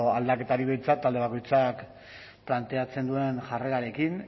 aldaketarik behintzat talde bakoitzak planteatzen duen jarrerarekin